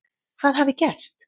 Hvað hafi gerst?